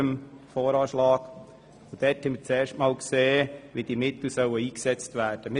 Dabei haben wir zum ersten Mal gesehen, wie diese Mittel eingesetzt werden sollen.